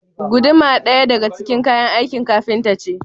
Guduma ɗaya daga ciki kayan aikin kafinta ce